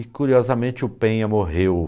E curiosamente o Penha morreu.